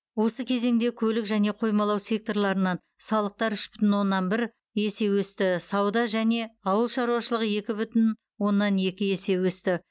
осы кезеңде көлік және қоймалау секторларынан салықтар үш бүтін оннан бір есе өсті сауда және ауыл шаруашылығы екі бүтін оннан екі есе өсті